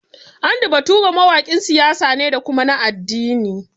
Andy Bature mawaƙin siyasa ne da kuma na addini